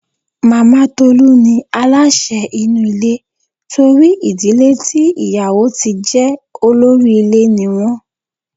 Màmá Tolú ní aláṣẹ inú ilé torí ìdílé tí ìyàwó tí jẹ olórí ilé ní wọ́n.